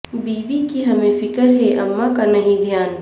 بیوی کی ہمیں فکر ہے اماں کا نہیں دھیان